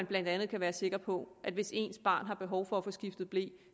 blandt andet være sikker på at hvis ens barn har behov for at få skiftet ble